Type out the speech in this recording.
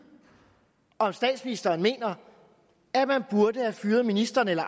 om statsministeren mener man burde have fyret ministeren eller